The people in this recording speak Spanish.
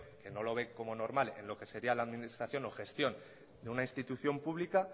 que no lo ve como normal en lo que sería la administración o gestión de una institución pública